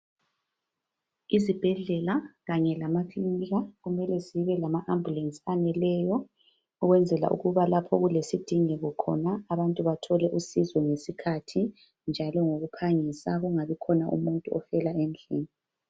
Izibhedlela kanye lamakilinika kumele zibe lama ambulance aneleyo ukwenzela ukuba lapho kulesidingeko khona abantu bathole usizo ngesikhathi njalo ngokuphangisa kungabi khona umuntu ofela endlini.